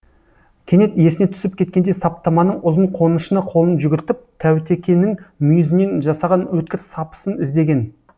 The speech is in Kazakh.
кенет есіне түсіп кеткендей саптаманың ұзын қонышына қолын жүгіртіп таутекенің мүйізінен жасаған өткір сапысын іздеген